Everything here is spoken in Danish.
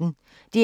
DR P1